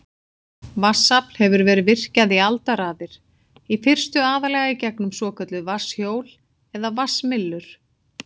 Vatnsafl hefur verið virkjað í aldaraðir, í fyrstu aðallega í gegnum svokölluð vatnshjól eða vatnsmyllur.